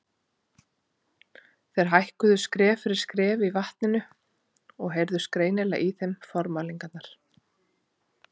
Þeir hækkuðu skref fyrir skref í vatninu og heyrðust greinilega í þeim formælingarnar.